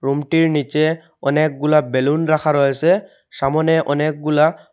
রুমটির নীচে অনেকগুলা বেলুন রাখা রয়েসে সামনে অনেকগুলা--